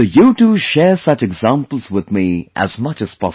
So you too share such examples with me as much as possible